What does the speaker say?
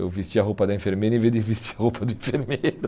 Eu vesti a roupa da enfermeira em vez de vestir a roupa do enfermeiro.